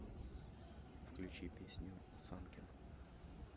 включи песню санкен